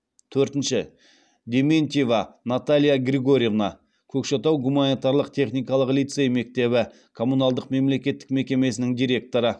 төртінші дементьева наталья григорьевна көкшетау гуманитарлық техникалық лицей мектебі коммуналдық мемлекеттік мекемесінің директоры